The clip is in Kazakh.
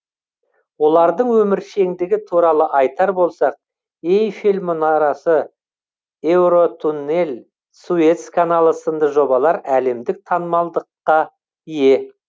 олардың өміршеңдігі туралы айтар болсақ эйфель мұнарасы еуротуннель суэц каналы сынды жобалар әлемдік танымалдылыққа ие